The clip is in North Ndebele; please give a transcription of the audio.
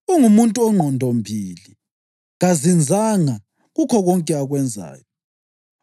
ungumuntu ongqondombili, kazinzanga kukho konke akwenzayo.